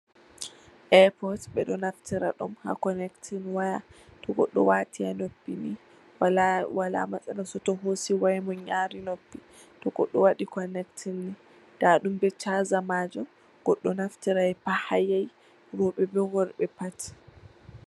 Aapot. Ɓeɗo naftira ɗum ha konektin waya, to goɗɗo watii ha noppi ni wala masala soto hosi wayamuun yari noppi. To goɗɗo waɗi konektin. Ndaɗum be chaaza majum. Goɗɗo naftirai pat ha yahi, roɓe be worɓe pat.